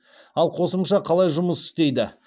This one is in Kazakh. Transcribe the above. ал қосымша қалай жұмыс істейді